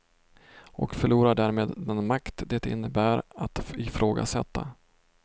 Och förlorar därmed den makt det innebär att ifrågasätta.